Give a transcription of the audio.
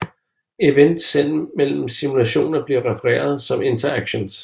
Events sendt mellem simulationer bliver refereret som interactions